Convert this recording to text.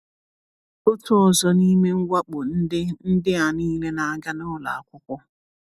Otu ọzọ n’ime mwakpo ndị ndị a niile na-aga n’ụlọ akwụkwọ.